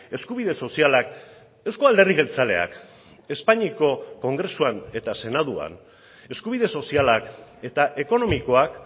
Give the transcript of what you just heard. eskubide sozialak euzko alderdi jeltzaleak espainiako kongresuan eta senatuan eskubide sozialak eta ekonomikoak